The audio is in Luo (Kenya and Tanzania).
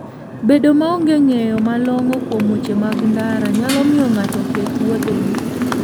Bedo maonge ng'eyo malong'o kuom weche mag ndara, nyalo miyo ng'ato oketh wuodhene.